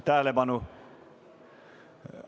Tähelepanu!